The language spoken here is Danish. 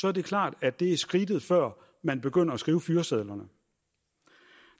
er det klart at det er skridtet før man begynder at skrive fyresedlerne